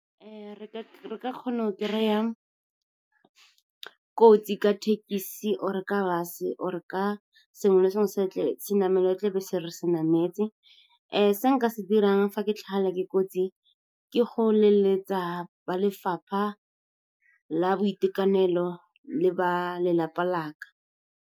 Re ka kgona go kry-a kotsi ka thekesi, or-e ka bus-e, or-e ka senamelwa tlebe se re se nametse. Se nka se dirang fa ke tlhagelwa ke kotsi ke go leletsa ba lefapha la boitekanelo le ba lelapa la ka.